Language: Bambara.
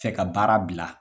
fɛ ka baara bila.